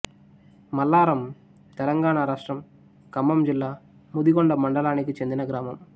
మల్లారం తెలంగాణ రాష్ట్రం ఖమ్మం జిల్లా ముదిగొండ మండలానికి చెందిన గ్రామం